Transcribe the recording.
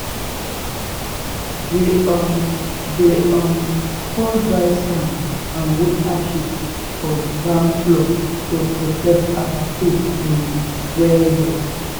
we um dey um pour dry sand and wood ashes for barn floor to protect our food um well.